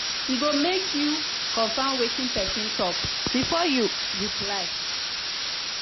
e good make you confirm wetin person talk before you reply.